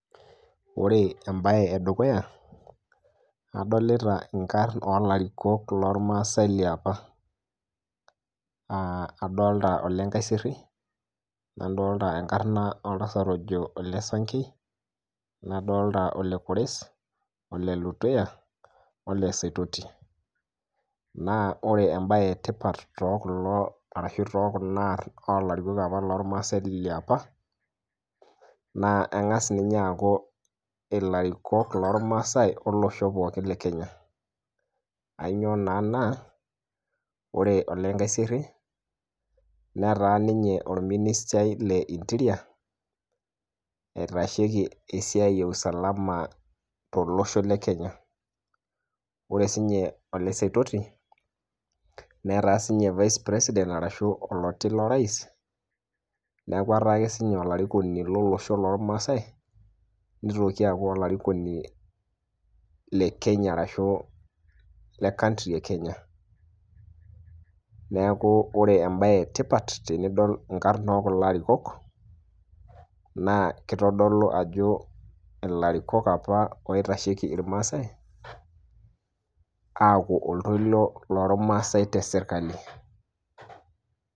ore embaye edukuya adolita inkarrn olarikok lormasae liapa adolta Ole nkaiserry nadolta enkarna oltasat ojo ole sankei nadolta ole kores, ole letuya ole saitoti, naa ore embaye etipat tokulo arashu tokuna arrn olarikok apa lormasae liapa naa eng'as ninye aaku ilarikok lormasae olosho pookin le kenya ainyio naa na, ore ole nkaiserry netaa ninye orministai le interior eitasheki esiai e usalama tolosho le kenya ore sinye ole saitoti netaa sinye vice president arashu oloti lorais niaku etaa ake sininye olarikoni lolosho lormasae nitoki aaku olarikoni le kenya arashu le country e kenya neeku ore embaye etipat tenidol inkarn okulo arikok naa kitodolu ajo ilarikok apa oitasheki irmasae aaku oltoilo lormasae tesirkali.